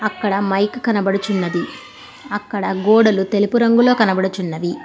అక్కడ మైక్ కనబడుచున్నది అక్కడ గోడలు తెలుపు రంగులో కనబడుచున్నది.